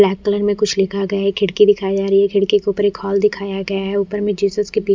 यहाँ कई में कुछ लिखा गया है खिड़की दिखाया जा रहा है खिड़की के ऊपर एक हॉल दिखाया गया है ऊपर में जीसस के तीन--